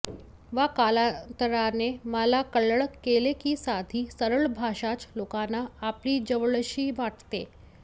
व कालांतराने मला कळत गेले की साधी सरळ भाषाच लोकांना आपली जवळशी वाटते